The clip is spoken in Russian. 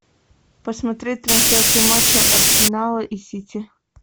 посмотреть трансляцию матча арсенала и сити